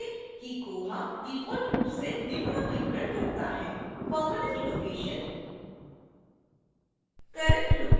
याद रखें कि koha डिफ़ॉल्ट रूप से निम्न विवरण भरता है